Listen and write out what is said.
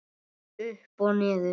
Upp og niður.